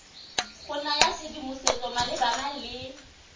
go naya tshedimosetso malebana le